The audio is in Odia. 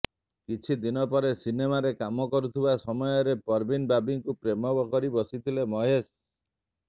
କିଛି ଦିନ ପରେ ସିନେମାରେ କାମ କରୁଥିବା ସମୟରେ ପରବୀନ୍ ବାବିଙ୍କୁ ପ୍ରେମ କରିବସିଥିଲେ ମହେଶ